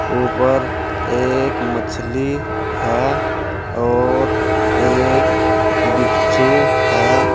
ऊपर एक मछली है और एक बिच्छू है।